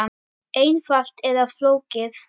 Einfalt eða flókið?